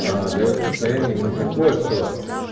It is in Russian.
даёт состояние именно такое что